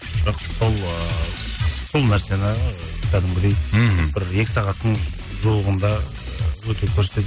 бірақ сол ыыы сол нәрсені ы кәдімгідей мхм бір екі сағаттың жуығында өте